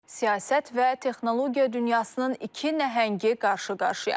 Siyasət və texnologiya dünyasının iki nəhəngi qarşı-qarşıya.